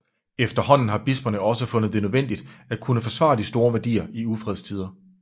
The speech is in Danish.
Efterhånden har bisperne også fundet det nødvendigt at kunne forsvare de store værdier i ufredstider